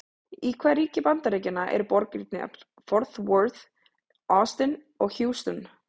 Í hvaða ríki Bandaríkjanna eru borgirnar Fort Worth, Austin og Houston?